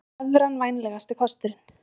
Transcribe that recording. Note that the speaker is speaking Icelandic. Evran vænlegasti kosturinn